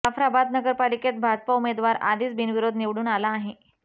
जाफराबाद नगरपालिकेत भाजपा उमेदवार आधीच बिनविरोध निवडून आला आहे